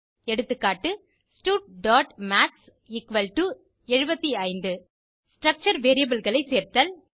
எகா studமாத்ஸ் 75 ஸ்ட்ரக்சர் variableகளை சேர்த்தல்